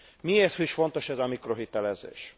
Miért is fontos ez a mikrohitelezés?